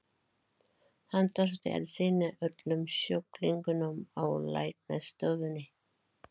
Hann þurfti að sinna öllum sjúklingunum á læknastofunni.